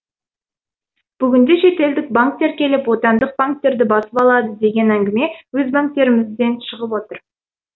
бүгінде шетелдік банктер келіп отандық банктерді басып алады деген әңгіме өз банктерімізден шығып отыр